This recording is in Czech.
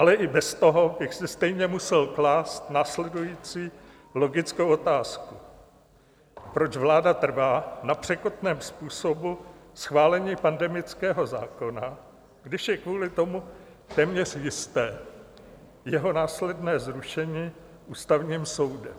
Ale i bez toho bych si stejně musel klást následující logickou otázku: Proč vláda trvá na překotném způsobu schválení pandemického zákona, když je kvůli tomu téměř jisté jeho následné zrušené Ústavním soudem?